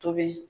Tobi